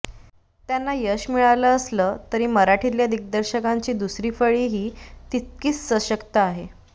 त्यांना यश मिळालं असलं तरी मराठीतल्या दिग्दर्शकांची दुसरी फळीही तितकीच सशक्त आहे